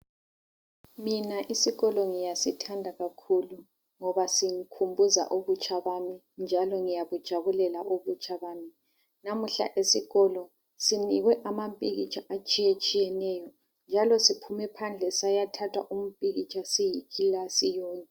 Mina isikolo ngiyasithanda kakhulu ngoba singikhumbuza ubutsha bami njalo ngiyabujabulela ubutsha bami. Namuhla esikolo sinikwe amapikitsha atshiyetshiyeneyo njalo siphume phandle sayathatha impikitsha siyikilasi yonke.